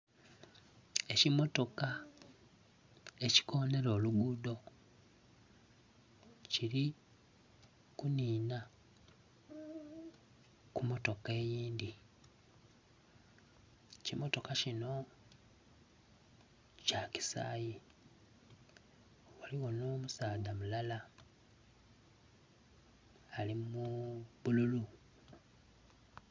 Ekimotoka ekikonera oluguudho kiri kunina ku motoka eyindhi, Ekimotoka kino kya kisaayi, ghaligho n'omusaadha mulala ali mu bululu.